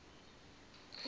ndithi tjhu gqebe